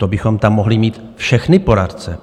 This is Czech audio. To bychom tam mohli mít všechny poradce.